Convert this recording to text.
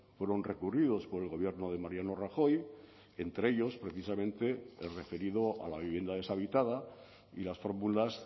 fueron recurridos por el gobierno de mariano rajoy entre ellos precisamente el referido a la vivienda deshabitada y las fórmulas